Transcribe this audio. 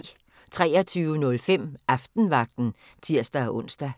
23:05: Aftenvagten (tir-ons)